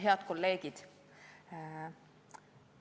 Head kolleegid!